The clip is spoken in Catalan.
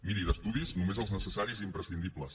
miri d’estudis només els necessaris i imprescindibles